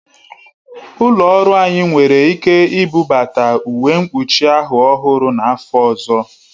Ụlọ ọrụ anyị nwere ike ibubata uwe mkpuchi ahụ ọhụrụ n'afọ ọzọ